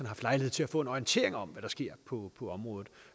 haft lejlighed til at få en orientering om hvad der sker på området